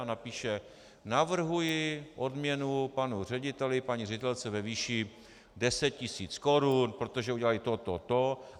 A napíše: navrhuji odměnu panu řediteli, paní ředitelce ve výši deset tisíc korun, protože udělali to, to, to.